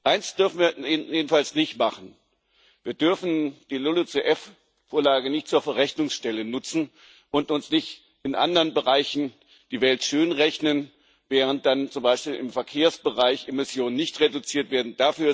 Eines dürfen wir jedenfalls nicht machen Wir dürfen die LULUCF Vorlage nicht zur Verrechnungsstelle nutzen und uns nicht in anderen Bereichen die Welt schön rechnen, während dann zum Beispiel im Verkehrsbereich Emissionen nicht reduziert werden.